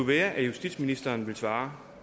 være at justitsministeren ville svare